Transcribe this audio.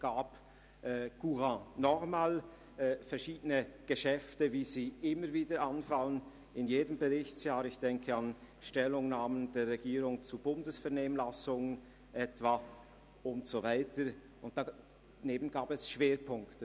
Neben verschiedenen Geschäften, wie sie in jedem Berichtsjahr anfallen, wie etwa Stellungnahmen der Regierung zu Bundesvernehmlassungen und so weiter gab es Schwerpunkte.